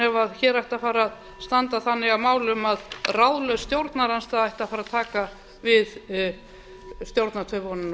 ef hér ætti að fara að standa þannig að málum að ráðlaus stjórnarandstaða ætti að fara að taka við stjórnartaumunum nú